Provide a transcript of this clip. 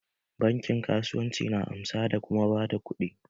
Bankin kasuwanci na amsa da kuma ba da kuɗi.